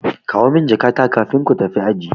Kawo min jakata kafin ko tafi aji.